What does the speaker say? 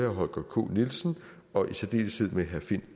holger k nielsen og i særdeleshed med herre finn